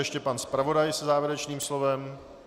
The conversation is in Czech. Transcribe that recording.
Ještě pan zpravodaj se závěrečným slovem.